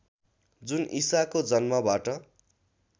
जुन ईसाको जन्मबाट